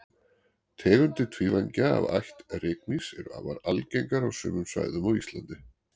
tegundir tvívængja af ætt rykmýs eru afar algengar á sumum svæðum á íslandi